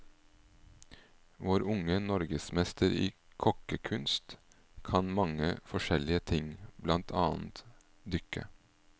Vår unge norgesmester i kokkekuns, kan mange forskjellige ting, blant annet dykke.